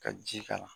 Ka ji k'a la